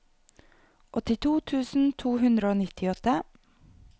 åttito tusen to hundre og nittiåtte